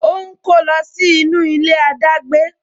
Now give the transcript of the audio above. O ń kó lọ sí inú ilé adagbe